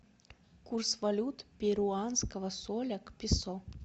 курс валют перуанского соля к песо